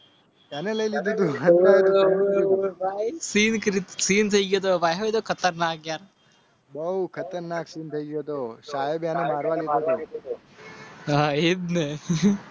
બહુ ખતરનાક અને મારવાડી